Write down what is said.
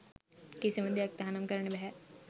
කිසිම දෙයක් තහනම් කරන්න බැහැ